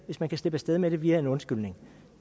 hvis man kan slippe afsted med det via en undskyldning